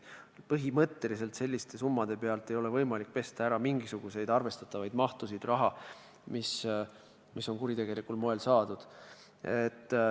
Põhimõtteliselt ei ole selliste summade pealt võimalik pesta mingisugust arvestatavat mahtu raha, mis oleks kuritegelikul moel saadud.